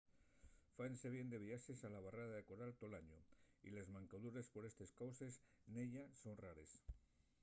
fáense bien de viaxes a la barrera de coral tol añu y les mancadures por estes causes nella son rares